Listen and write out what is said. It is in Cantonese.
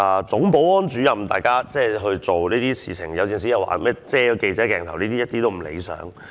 總保安主任有時在執行工作期間會遮擋記者鏡頭，這都是不理想的。